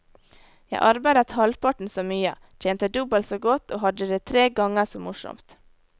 Jeg arbeidet halvparten så mye, tjente dobbelt så godt og hadde det tre ganger så morsomt.